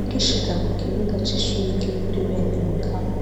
Ugishika kukibuga c’ishure ryo kuri bene mukama,